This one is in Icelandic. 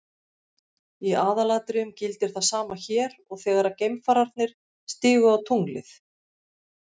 Í aðalatriðum gildir það sama hér og þegar geimfararnir stigu á tunglið.